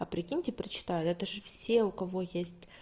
а прикиньте прочитают это же все у кого есть